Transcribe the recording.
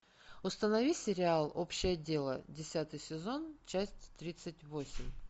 установи сериал общее дело десятый сезон часть тридцать восемь